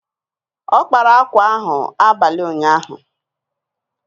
Ọ kpara akwa ahụ abalị ụnyaahụ.